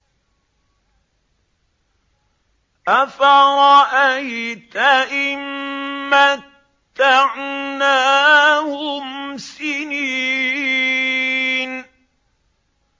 أَفَرَأَيْتَ إِن مَّتَّعْنَاهُمْ سِنِينَ